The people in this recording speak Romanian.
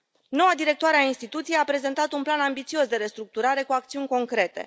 Noua directoare a instituției a prezentat un plan ambițios de restructurare, cu acțiuni concrete.